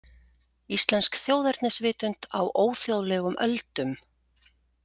„Íslensk þjóðernisvitund á óþjóðlegum öldum.“